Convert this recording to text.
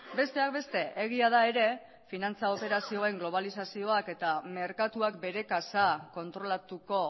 besteak beste egia da ere finantza operazioen globalizazioak eta merkatuak bere kasa kontrolatuko